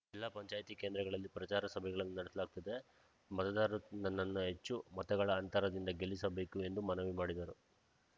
ಜಿಲ್ಲಾ ಪಂಚಾಯ್ತಿ ಕೇಂದ್ರಗಳಲ್ಲಿ ಪ್ರಚಾರ ಸಭೆಗಳನ್ನು ನಡೆಸಲಾಗುತ್ತದೆ ಮತದಾರರು ನನ್ನನ್ನು ಹೆಚ್ಚು ಮತಗಳ ಅಂತರದಿಂದ ಗೆಲ್ಲಿಸಬೇಕು ಎಂದು ಮನವಿ ಮಾಡಿದರು